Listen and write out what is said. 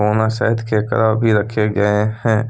ओना शायद केकड़ा भी रखे गए है।